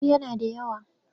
Eh yana da yawa.